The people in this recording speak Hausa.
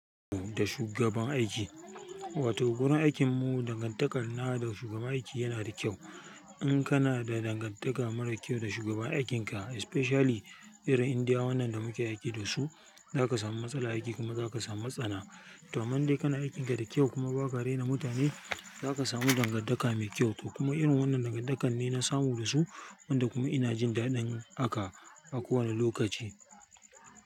Da shugaban aiki, wato wurin aikin mu dangantakar na da shugaban aiki yana da kyau. In kana da dangantaka mara kyau da shugaban aikinka especially irin Indiya wannan da muke aiki da su, za ka samu matsala aiki kuma za ka samu matsana. To amman dai kana aikin ka da kyau kuma ba ka rena mutane, za ka samu dangantaka mai kyau. Kuma irin wannan dangantakar ne na samu da su wanda kuma ina jin daɗin aka a kowane lokaci.